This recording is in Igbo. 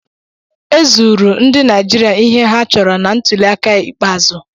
Ezuuru ndị Naijiria ihe ha chọrọ na ntuliaka ikpeazụ.